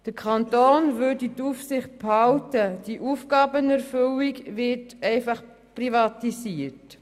Der Kanton würde die Aufsicht behalten, die Aufgabenerfüllung würde einfach privatisiert.